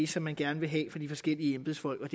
som man gerne vil have fra de forskellige embedsfolks